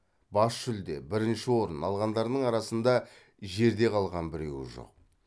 бас жүлде бірінші орын алғандарының арасында жерде қалған біреуі жоқ